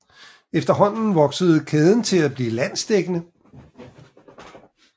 Efterhånden voksede kæden til at blive landsdækkende